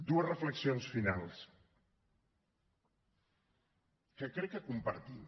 dues reflexions finals que crec que compartim